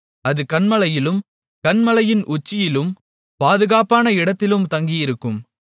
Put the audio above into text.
அது கன்மலையிலும் கன்மலையின் உச்சியிலும் பாதுகாப்பான இடத்திலும் தங்கியிருக்கும்